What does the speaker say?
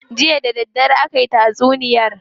Jiya da daddare aki tatsuniyar.